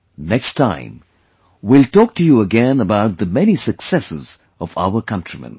Next time we will talk to you again about the many successes of our countrymen